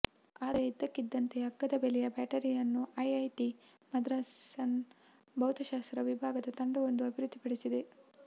ಆದರೆ ಇದಕ್ಕಿದ್ದಂತೆ ಅಗ್ಗದ ಬೆಲೆಯ ಬ್ಯಾಟರಿಯನ್ನು ಐಐಟಿ ಮದ್ರಾಸ್ನ ಭೌತಶಾಸ್ತ್ರ ವಿಭಾಗದ ತಂಡವೊಂದು ಅಭಿವೃದ್ಧಿ ಪಡಿಸಿದೆ